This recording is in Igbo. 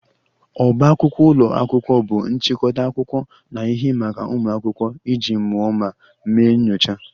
Ọbá akwụkwọ ụlọ akwụkwọ bụ nchịkọta akwụkwọ na ihe maka ụmụ akwụkwọ iji mụọ ma mee nyocha